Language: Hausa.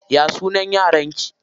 Ya sunan yaran ki?